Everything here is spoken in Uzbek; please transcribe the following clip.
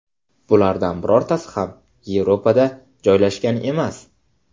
Bulardan birortasi ham Yevropada joylashgan emas.